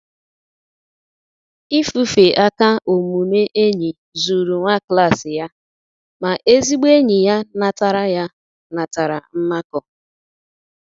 Ifufe aka omume enyi zuru nwa klas ya, ma ezigbo enyi ya natara ya natara mmakọ.